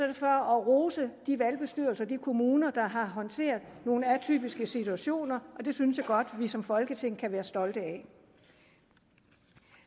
det for at rose de valgbestyrelser og de kommuner der har håndteret nogle atypiske situationer og det synes jeg godt at vi som folketing kan være stolte af